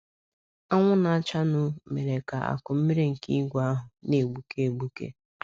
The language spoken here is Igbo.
Anwụ na - achanụ mere ka akụ mmiri nke ìgwè ahụ na - egbuke egbuke.